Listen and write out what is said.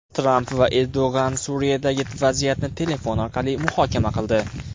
Tramp va Erdo‘g‘on Suriyadagi vaziyatni telefon orqali muhokama qildi.